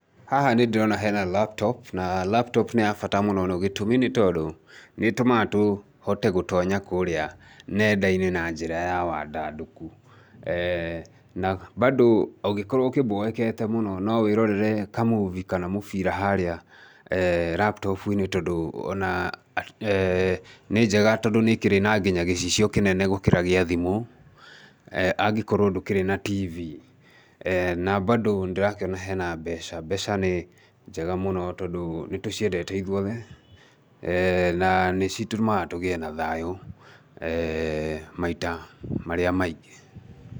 Haha nĩ ndĩrona hena laptop, na laptop nĩ ya bata mũno na gĩtũmi nĩ tondũ, nĩ ĩtũmaga tũhote gũtonya kũrĩa nenda-inĩ na njĩra ya wandandũku, bandũ ũngĩkorwo ũboekete mũno no wĩrorere kamovie kana mũbira harĩa laptop-ini tondũ ona nĩ njega tondũ nĩ ĩkĩrĩ nginya gĩcicio kinene gũkĩra kĩa thimũ, anĩkorwo ndũkĩrĩ na TV. Na bandũ nĩndĩrakĩona hena mbeca. Mbeca nĩ njega mũno tondũ nĩ tũciendete ithuothe na nĩcitũmaga tũgĩe na thayũ maita marĩa maingĩ.